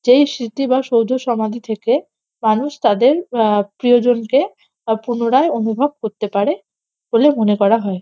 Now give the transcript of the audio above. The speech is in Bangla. যেই স্মৃতি বা সৌধসমাধি থেকে মানুষ তাদের আহ প্রিয়জনকে অপুনরায় অনুভব করতে পারে বলে মনে করা হয়।